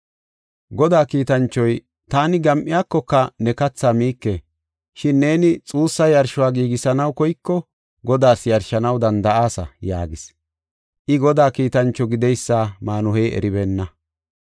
Godaa kiitanchoy, “Taani gam7iyakoka ne kathaa miike. Shin neeni xuussa yarsho giigisanaw koyiko, Godaas yarshanaw danda7aasa” yaagis. I Godaa kiitancho gideysa Maanuhey eribeenna.